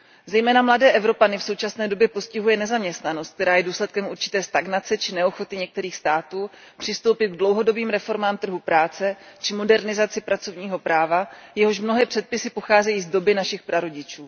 Zejména mladé Evropany v současné době postihuje nezaměstnanost, která je důsledkem určité stagnace či neochoty některých států přistoupit k dlouhodobým reformám trhu práce či modernizaci pracovního práva, jehož mnohé předpisy pocházejí z doby našich prarodičů.